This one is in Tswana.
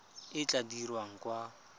e e tla dirwang kwa